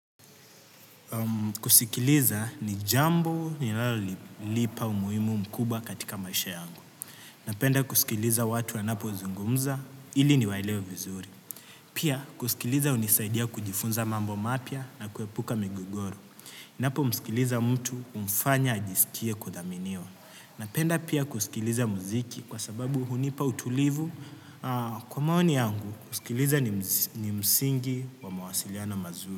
Kusikiliza ni jambo linalonipa umuhimu mkubwa katika maisha yangu napenda kusikiliza watu wanapozungumza ili niwaelewe vizuri. Pia kusikiliza hunisaidia kujifunza mambo mapya na kuepuka migogoro. Ninapomsikiliza mtu humfanya ajisikie kudhaminiwa. Napenda pia kusikiliza muziki kwa sababu hunipa utulivu kwa maoni yangu kusikiliza ni msingi wa mawasiliano mazuri.